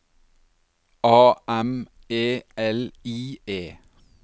A M E L I E